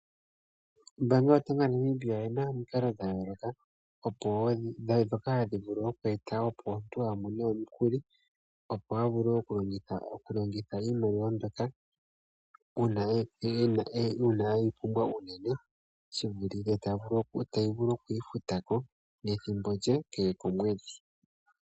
Ombaanga yotango yaNamibia oyina omikalo dha yooloka, dhoka ha dhi vulu oku eta opo omuntu a mone omukuli. Opo a vule okulongitha iimaliwa mbyoka uuna e yi pumbwa unene. Ta vulu oku yi futa ko methimbo lye kehe komwedhi.